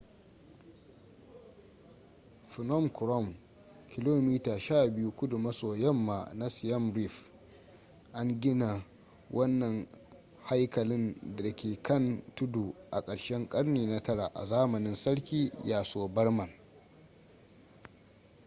phnom krom kilomita 12 kudu maso yamma na siem reap an gina wannan haikalin da ke kan tudu a ƙarshen ƙarni na 9 a zamanin sarki yasovarman